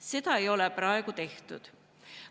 Seda ei ole praegu tehtud.